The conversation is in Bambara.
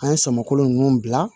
An ye sɔmolon nunnu bila